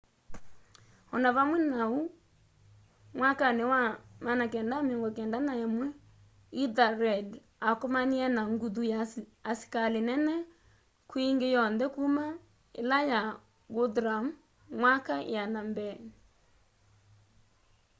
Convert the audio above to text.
o na vamwe na uu mwakani wa 991 ethelred akomanie na nguthu ya asikali nene kwi ingi yonthe kuma ila ya guthrum myaka iana mbeeni